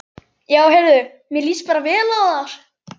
Já heyrðu, mér líst vel á það!